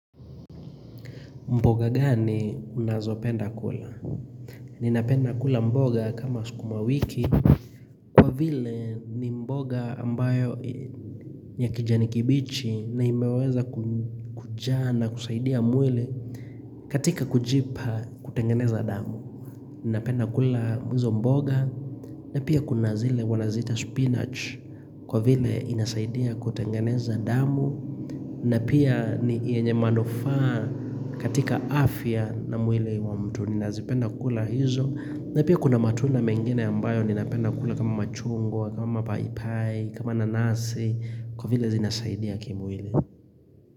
Mboga gani unazopenda kula? Ninapenda kula mboga kama sukuma wiki Kwa vile ni mboga ambayo ya kijani kibichi na imeweza kujaa na kusaidia mwili katika kujipa kutengeneza damu Ninapenda kula mwizo mboga na pia kuna zile wanaziita spinach kwa vile inasaidia kutengeneza damu na pia ni yenye manufaa katika afya na mwili wa mtu ninazipenda kula hizo. Na pia kuna matunda mengine ambayo ni napenda kula kama machungwa, kama paipai, kama nanasi, kwa vile zinasaidia kimwili.